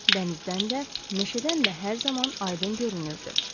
Dənizdən də, meşədən də hər zaman aydın görünürdü.